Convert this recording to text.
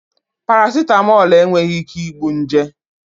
Parasịtamọlụ enweghị ike igbu nje